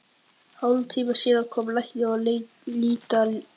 Hálftíma síðar kom læknir að líta á hann.